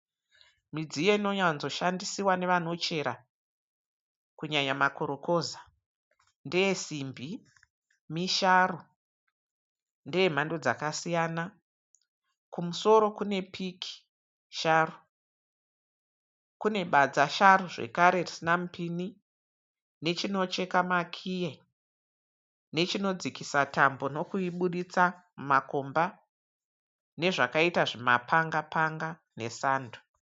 Midziyo inowanzoshandisiwa nevano chera kunyanya makorokoza. Ndeyesimbi, misharu ndeyemhando dzakasiyana. Kumusoro kune piki sharu, kune badza sharu zvekare risina mupini. Nechinocheka makiyi, nechinodzikisa tambo nokuibuditsa mumakomba. Nezvakaita zvima panga-panga nesando.